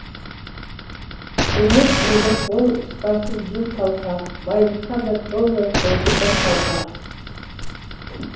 демеппін де қол ұстасып жүр қалқа байлыққа да толмай қойды бір қалта